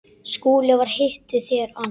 SKÚLI: Hvar hittuð þér hann?